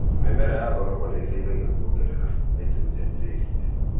Mĩmera ya thoroko nĩ ĩteithagia kuongerera naitũrũjeni tĩĩri-inĩ